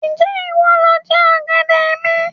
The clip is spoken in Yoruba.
Ń jẹ́ ìwọ lọ jẹ ọ̀gẹ̀dẹ̀ mi?